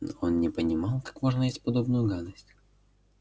он не понимал как можно есть подобную гадость